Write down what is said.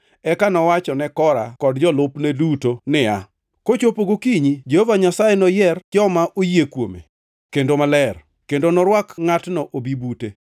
Eka nowacho ne Kora kod jolupne duto niya, “Kochopo gokinyi Jehova Nyasaye noyier joma oyie kuome kendo maler, kendo norwak ngʼatno obi bute.